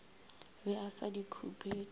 be a sa di khupetše